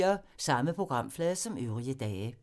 Samme programflade som øvrige dage